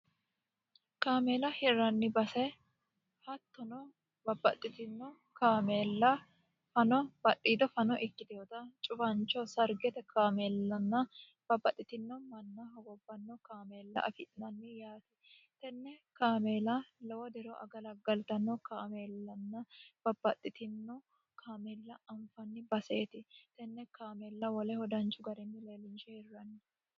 kaameela hirranni base hattono babbaxxitino kaameella fano badhiito fano ikkitehota cubancho sargete kaameellanna babbaxxitino manna hogobbanno kaameella afi'nanni yaate tenne kaameela lowo dero agalaggaltanno kaameellanna babbaxxitino kaameella anfanni baseeti tenne kaameella woleho danchu garinni leelinishe hirranni